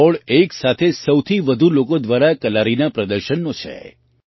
આ રેકૉર્ડ એક સાથે સૌથી વધુ લોકો દ્વારા કલારીના પ્રદર્શનનો છે